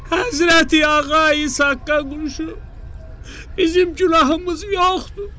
“Həzrəti Ağa İsaqqa quşu, bizim günahımız yoxdur.